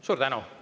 Suur tänu!